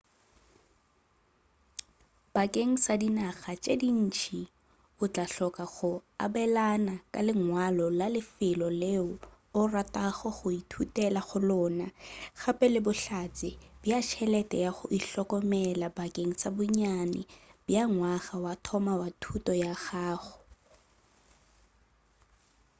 bakeng sa dinaga tše ntši o tla hloka go abelana ka lengwalo la lefelo leo o ratago go ithutela go lona gape le bohlatse bja tšhelete ya go ihlokomela bakeng sa bonnyane bja ngwaga wa mathomo wa thuto ya gago